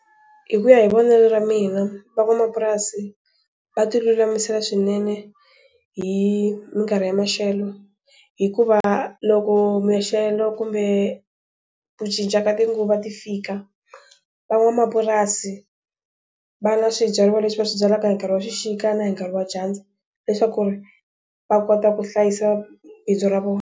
Hi ku ya hi vonelo ra mina, va van'wamapurasi va ti lulamisela swinene hi minkarhi hi maxelo. Hikuva loko maxelo kumbe ku cinca ka tinguva ti fika, van'wamapurasi, va na swibyariwa leswi va swi byalaka hi nkarhi wa xixika na hi nkarhi wa dyandza leswaku ri va kota ku hlayisa bindzu ra vona.